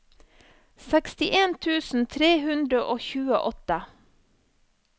sekstien tusen tre hundre og tjueåtte